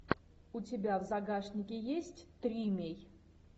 у тебя в загашнике есть тримей